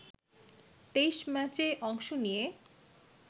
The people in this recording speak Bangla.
২৩ম্যাচে অংশ নিয়ে